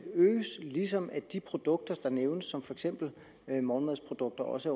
øges ligesom at de produkter der nævnes for eksempel morgenmadsprodukter også